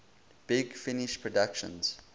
big finish productions